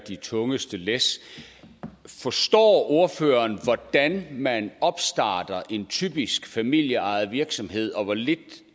de tungeste læs forstår ordføreren hvordan man opstarter en typisk familieejet virksomhed og hvor lidt